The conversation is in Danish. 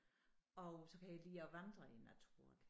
Og så kan jeg lide at vandre i naturen